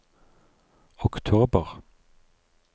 oktober